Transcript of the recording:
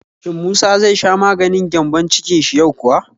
Shin musa zai sha maganin gyambon-cikin shi yau kuwa?